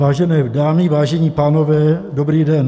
Vážené dámy, vážení pánové, dobrý den.